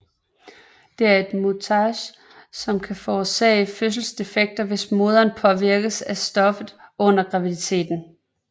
Det er et mutagen som kan forårsage fødselsdefekter hvis moderen påvirkes af stoffet under graviditeten